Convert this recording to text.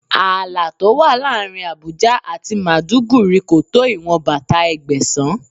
Ààlà tó wà láàárín Àbújá àti Màdúgùri kò tó ìwọn bàtà Ẹgbẹ̀sán.